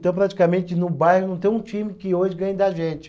Então praticamente no bairro não tem um time que hoje ganhe da gente.